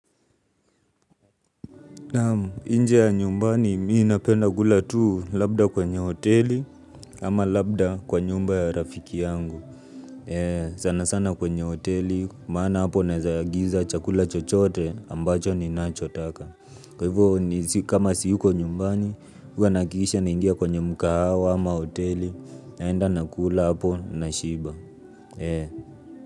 Naam nje ya nyumbani mimi napenda kula tu labda kwenye hoteli ama labda kwenye hoteli ama labda kwa nyumba ya rafiki yangu. Sana sana kwenye hoteli maana hapo naezaagiza chakula chochote ambacho ninachotaka. Kwa hivyo kama siyuko nyumbani, huwa nahakikisha naingia kwenye mkahawa ama hoteli naenda nakula hapo nashiba.